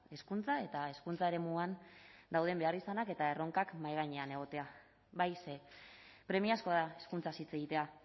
hezkuntza eta hezkuntza eremuan dauden beharrizanak eta erronkak mahai gainean egotea bai ze premiazkoa da hezkuntzaz hitz egitea